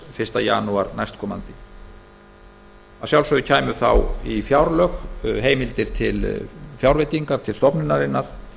fyrsta janúar að sjálfsögðu kæmu þá í fjárlög heimildir til fjárveitinga til stofnunarinnar